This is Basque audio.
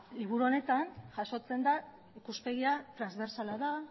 liburu honetan jasotzen den ikuspegia transbersala da